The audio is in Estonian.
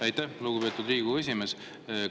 Aitäh, lugupeetud Riigikogu esimees!